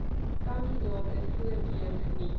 kandidate voorkeur geniet